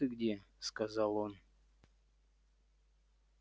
вот ты где сказал он